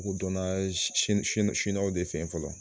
U donna siniwaw de fɛ fɔlɔ